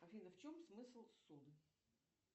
афина в чем смысл ссуды